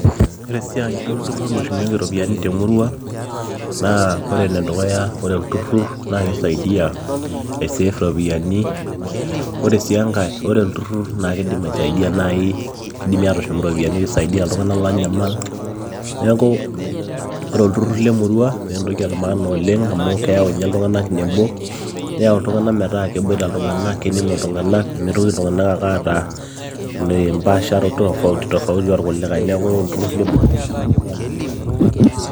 Ore siaai olturur oshumieki iropiyiani temurua naa ore enedukuya ore olturur naakeisaidia aisafe iropiyiani ore sii enkae ore olturur naakeidim aisaidia keidimi aisidia iltung'anak oonyamal neeku ore itururu lemurua naa entoki emaana oleng neeyau iltung'anak nebo neyau iltunganak metaa keboita iltung'anak kening'o iltung'anak meitoki iltung'anak ake aata embaasharoto fofauti tofauti orkulikae neeku ore iltururi lemurua naa iletipat oleng.